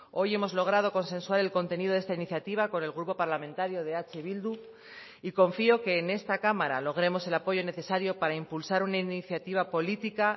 hoy hemos logrado consensuar el contenido de esta iniciativa con el grupo parlamentario de eh bildu y confío que en esta cámara logremos el apoyo necesario para impulsar una iniciativa política